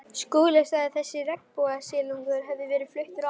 Skúli sagði að þessi regnbogasilungur hefði verið fluttur að